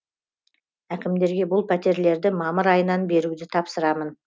әкімдерге бұл пәтерлерді мамыр айынан беруді тапсырамын